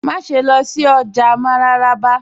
Màṣẹ̀ lọ sí ọjà ni Mararaba